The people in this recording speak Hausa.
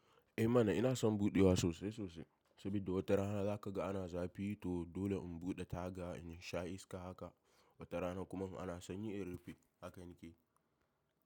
Eh mana ina son buɗewa sosai sosai sabidda wata rana za ka ga ana zafi to dole in buɗe taga in sha iska haka. Wata rana kuma in ana sanyi in rufe. Haka ni ke.